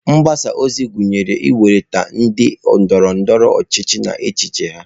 Mgbasa ozi gụnyere ịkwalite ndị ndoro-ndoro ochichi na echiche ha.